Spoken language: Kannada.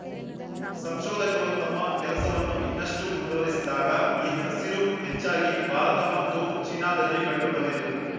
ಸಂಶೋಧಕರು ತಮ್ಮ ಕೆಲಸವನ್ನು ಇನ್ನಷ್ಟು ಮುಂದುವರೆಸಿದಾಗ ಈ ಹಸಿರು ಹೆಚ್ಚಾಗಿ ಭಾರತ ಮತ್ತು ಚೀನಾದಲ್ಲಿ ಕಂಡು ಬಂದಿತು